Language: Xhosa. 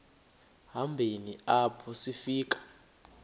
hambeni apho sifika